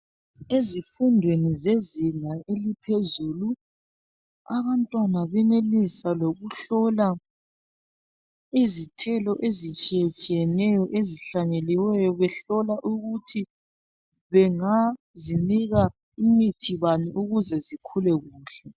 Ezifundweni zezinga eliphezulu abantwana benelisa lokuhlola izithelo ezitshiye tshiyeneyo ezihlanyeliweyo behlola ukuthi bengazinika imithi bani ukuze zikhule kuhle.